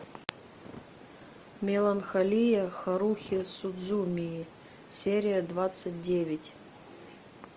меланхолия харухи судзумии серия двадцать девять